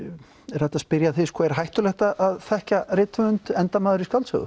er hægt að spyrja þig er hættulegt að þekkja rithöfund endar maður í skáldsögu